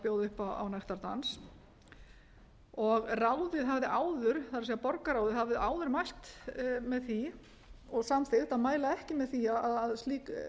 bjóða upp á nektardans ráðið hafði áður það er borgarráð hafði áður mælt með því og samþykkt að mæla ekki með því að slík leyfi